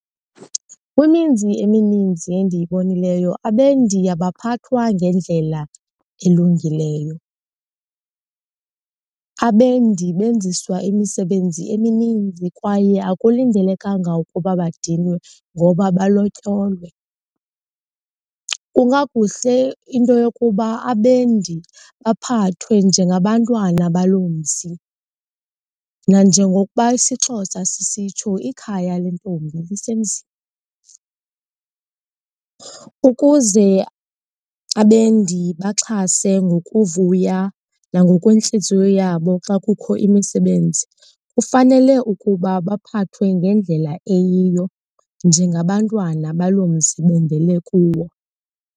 Kwimizi emininzi endiyibonileyo abendi abaphathwa ngendlela elungileyo, abendi benziswa imisebenzi emininzi kwaye akulindelekanga ukuba badinwe ngoba balotyolwe. Kungakuhle into yokuba abendi baphathwe njengabantwana baloo mzi, nanjengokuba isiXhosa sisitsho, ikhaya lentombi lisemzini. Ukuze abendi baxhase ngokuvuya nangokwentliziyo yabo xa kukho imisebenzi kufanele ukuba baphathwe ngendlela eyiyo njengabantwana baloo mzi bendele kuwo.